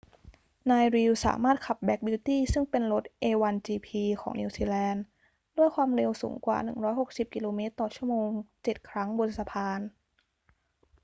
นาย reid สามารถขับ black beauty ซึ่งเป็นรถ a1gp ของนิวซีแลนด์ ด้วยความเร็วสูงกว่า 160 กม./ชม. เจ็ดครั้งบนสะพาน